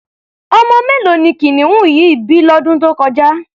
Ọmọ mélòó ni kìnìún yìí bí lọ́dún tó kọjá?